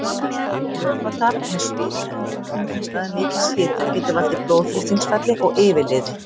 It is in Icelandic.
Vökvatap með svita undir kringumstæðum mikils hita getur valdið blóðþrýstingsfalli og yfirliði.